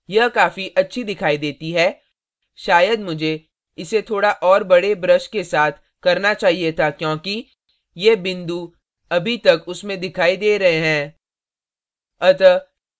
यह काफी अच्छी दिखाई देती है शायद मुझे इसे थोड़ा और बड़े brush के साथ करना चाहिए था क्योंकि ये बिंदु अभी तक उसमें दिखाई दे रहे हैं